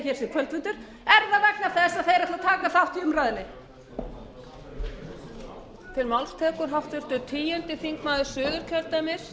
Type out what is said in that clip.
með því að hér sé kvöldfundur er það vegna þess að þeir ætla að taka þátt í umræðunni